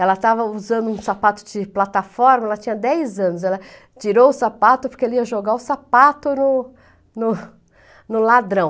Ela estava usando um sapato de plataforma, ela tinha dez anos, ela tirou o sapato porque ele ia jogar o sapato no no no ladrão.